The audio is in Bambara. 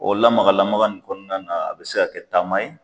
O lamagalamaga in kɔnɔna na a be se ka kɛ taama ye